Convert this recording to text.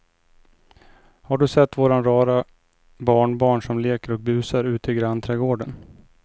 Har du sett våra rara barnbarn som leker och busar ute i grannträdgården!